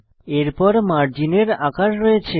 এরপর মার্জিনের আকার রয়েছে